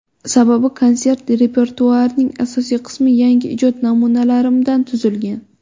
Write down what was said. Sababi konsert repertuarining asosiy qismi yangi ijod namunalarimdan tuzilgan.